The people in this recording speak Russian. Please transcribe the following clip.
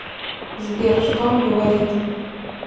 сбер что он говорит